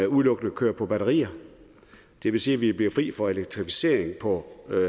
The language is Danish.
udelukkende kører på batterier det vil sige at vi kan blive fri for elektrificering på